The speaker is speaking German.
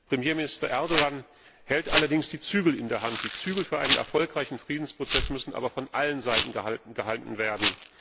Premierminister Erdoğan hält allerdings die Zügel in der Hand die Zügel für einen erfolgreichen Friedensprozess müssen aber von allen Seiten gehalten werden.